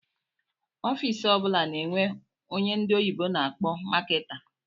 Ọffici ọbula na-enwe ónyé ndị oyibo na akpọ Marketer.